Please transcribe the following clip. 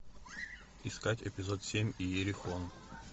искать эпизод семь иерихон